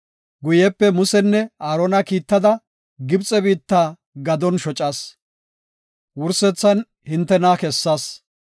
“ ‘Guyepe Musanne Aarona kiittada Gibxe biitta gadon shocas; wursethan hintena kessas.